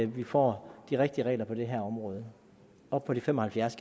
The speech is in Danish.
vi får de rigtige regler på det her område op på de fem og halvfjerds